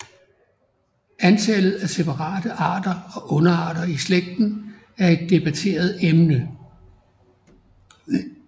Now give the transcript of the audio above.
Antallet af separate arter og underarter i slægten er et debatteret emne